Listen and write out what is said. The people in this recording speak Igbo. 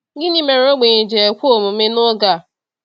Gịnị mere ogbenye ji ekwe omume n’oge a?